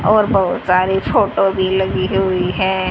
और बहुत सारी फोटो भी लगी हुई है।